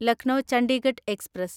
Lucknow Chandigarh express